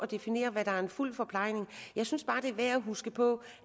definere hvad der er fuld forplejning jeg synes bare det er værd at huske på